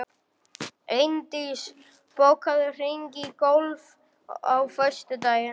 Eindís, bókaðu hring í golf á föstudaginn.